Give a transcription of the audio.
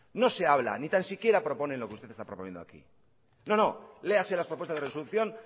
no se habla ni tan siquiera propone lo que usted está proponiendo aquí no no léase las propuestas de resolución